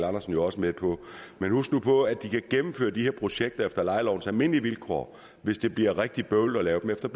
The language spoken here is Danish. andersen jo også med på men husk nu på at de kan gennemføre de her projekter efter lejelovens almindelige vilkår hvis det bliver rigtig bøvlet at lave dem efter